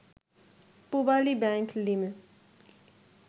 Pubali bank Li